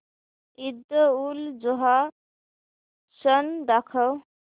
ईदउलजुहा सण दाखव